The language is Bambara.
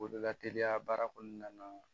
O de la teliya baara kɔnɔna na